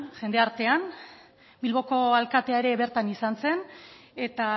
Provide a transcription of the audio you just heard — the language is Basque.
jende artean bilboko alkatea ere bertan izan zen eta